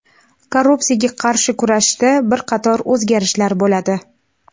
Korrupsiyaga qarshi kurashda bir qator o‘zgarishlar bo‘ladi.